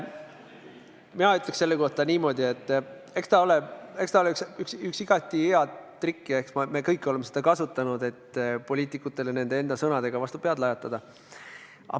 Mina ütleks selle kohta niimoodi, et eks ta ole üks igati hea trikk ja eks me kõik oleme seda kasutanud, et poliitikutele nende enda sõnadega vastu pead lajatada.